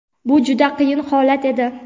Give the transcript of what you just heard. Bu juda qiyin holat edi.